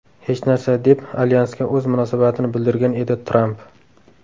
Hech narsa”, deb alyansga o‘z munosabatini bildirgan edi Tramp.